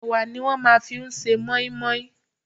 Ẹwà ni a máa ń fi ṣe mọ́í-mọ́í.